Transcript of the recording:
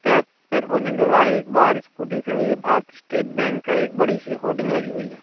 एक बाहर स्कूटी खड़ी है भारतीय स्टेट बैंक का एक बड़ी सी होडिंग लगी हुई--